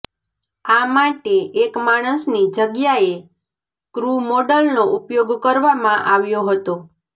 આ માટે એક માણસની જગ્યાએ ક્રૂ મોડલનો ઉપયોગ કરવામાં આવ્યો હતો